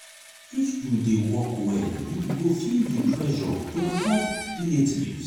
if you dey work well you go feel di pressure to help relatives.